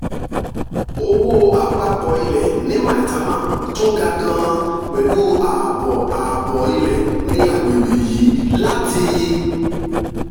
owó àpapọ̀ ilẹ̀ ní maitama tún ga gan-an pẹ̀lú ààbọ̀ ààbọ̀ ilẹ̀ ní àgbègbè yìí láti